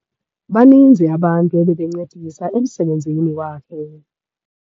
Baninzi abantu abebencedisa emsebenzini wakhe.